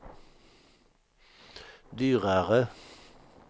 dyrare